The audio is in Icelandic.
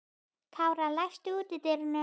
Kára, læstu útidyrunum.